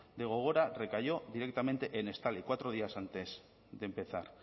de gogora recayó directamente en estali cuatro días antes de empezar